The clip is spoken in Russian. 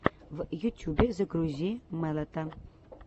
в ютюбе загрузи мэлэта